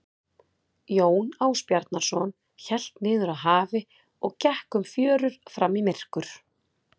Jón Ásbjarnarson hélt niður að hafi og gekk um fjörur fram í myrkur.